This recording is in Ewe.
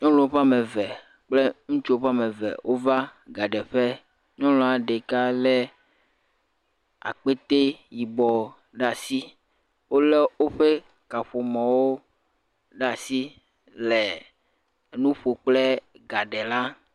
Nyɔnuwo ƒe ame eve kple ŋutsuwo ƒe ame eve wova gaɖeƒe, nyɔnua ɖeka lé akpete yibɔ ɖe asi wolé woƒe kaƒomɔwo ɖe asi le nu ƒo kple gaɖela.